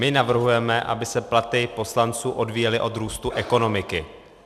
My navrhujeme, aby se platy poslanců odvíjely od růstu ekonomiky.